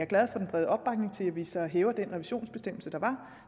glad for den brede opbakning til at vi så ophæver den revisionsbestemmelse der var